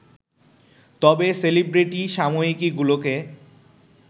তবে সেলিব্রিটি সাময়িকীগুলোকে